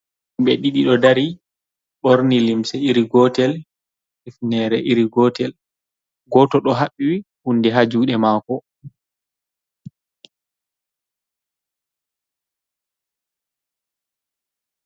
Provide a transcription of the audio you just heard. Himɓe ɗiɗi ɗo dari ɓorni limse iri gotel, hifnere iri gotel. Goto ɗo haɓɓi hundi ha jude mako.